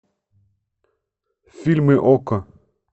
фильмы окко